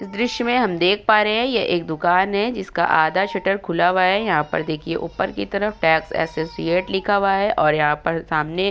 इस दृश्य में हम देख पा रहें हैं ये एक दुकान है जिसका आधा शटर खुला हुआ है। यहां पर देखिये ऊपर की तरफ टैक्स एसोसिएट लिखा हुआ है और यहाँ पर सामने --